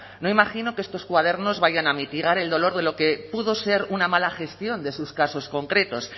no imagino que estos cuadernos vayan a mitigar el dolor de lo que pudo ser una mala gestión de sus casos concretos